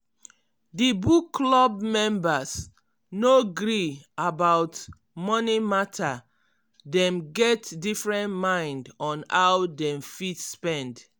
di book club members no gree about money mata dem get different mind on how dem fit spend.